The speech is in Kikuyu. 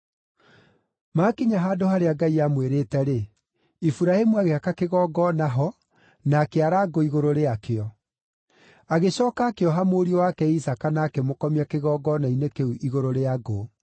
Maakinya handũ harĩa Ngai aamwĩrĩte-rĩ, Iburahĩmu agĩaka kĩgongona ho na akĩara ngũ igũrũ rĩakĩo. Agĩcooka akĩoha mũriũ wake Isaaka na akĩmũkomia kĩgongona-inĩ kĩu igũrũ rĩa ngũ.